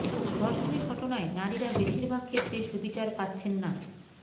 ধর্ষণের ঘটনায় নারীরা বেশির ভাগ ক্ষেত্রে সুবিচার পাচ্ছেন না